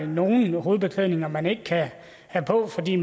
nogle hovedbeklædninger som man ikke kan have på fordi